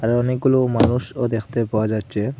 এ অনেকগুলো মানুষও দেখতে পাওয়া যাচ্ছে।